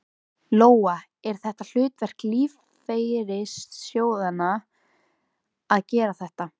Lóa: Er þetta hlutverk lífeyrissjóðanna að gera þetta?